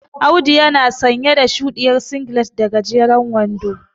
Audu yana sanye da shuɗiyar singilet da gajeren wando.